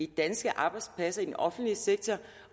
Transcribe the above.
danske arbejdspladser i den offentlige sektor